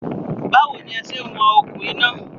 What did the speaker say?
Báwo ní ẹ se ń wọn okùn iná?